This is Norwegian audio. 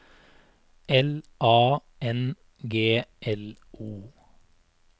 L A N G L O